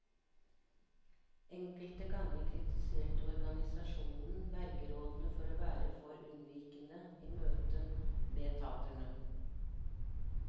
Enkelte ganger kritiserte organisasjonen vergerådene for å være for unnvikende i møte med taterne.